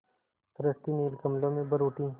सृष्टि नील कमलों में भर उठी